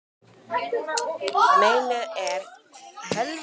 Meinið er bara það, að þetta var ekki næstum því allur sannleikurinn.